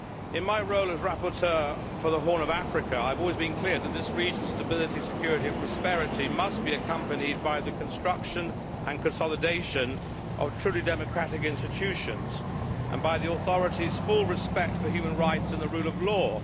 In my role as rapporteur for the Horn of Africa, I have always been clear that this region's stability, security and prosperity must be accompanied by the construction and consolidation of truly democratic institutions and by the authorities' full respect for human rights and the rule of law.